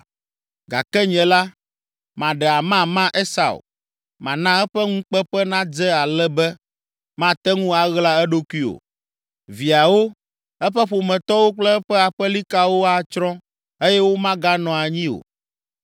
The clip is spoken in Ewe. Gake nye la, maɖe amama Esau, mana eƒe ŋukpeƒe nadze ale be mate ŋu aɣla eɖokui o. Viawo, eƒe ƒometɔwo kple eƒe aƒelikawo atsrɔ̃ eye womaganɔ anyi o.